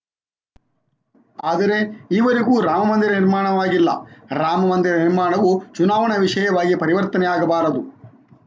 ಆದರೆ ಈವರೆಗೂ ರಾಮ ಮಂದಿರ ನಿರ್ಮಾಣವಾಗಿಲ್ಲ ರಾಮ ಮಂದಿರ ನಿರ್ಮಾಣವು ಚುನಾವಣಾ ವಿಷಯವಾಗಿ ಪರಿವರ್ತನೆಯಾಗಬಾರದು